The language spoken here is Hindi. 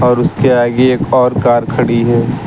उसके आगे एक और कार खड़ी है।